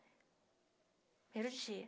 Primeiro dia.